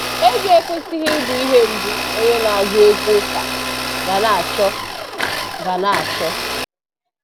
Ego ekwesịghị ịbụ ihe mbụ onye na-agụ egwu ụka ga na-achọ ga na-achọ